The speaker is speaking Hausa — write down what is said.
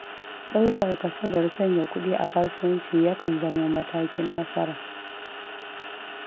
Ɗaukar kasadar sanya kuɗi a kasuwanci, yakan zamo matakin nasara.